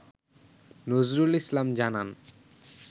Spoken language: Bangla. নজরুল ইসলাম জানান